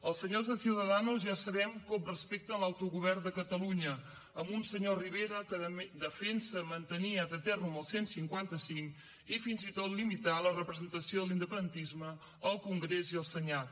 els senyors de ciudadanos ja sabem com respecten l’autogovern de catalunya amb un senyor rivera que defensa mantenir ad aeternum el cent i cinquanta cinc i fins i tot limitar la representació de l’independentisme al congrés i al senat